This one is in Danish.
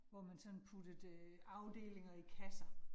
Hvor man sådan puttede afdelinger i kasser